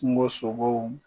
Kungo sogow